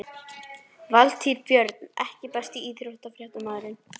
Valtýr Björn EKKI besti íþróttafréttamaðurinn?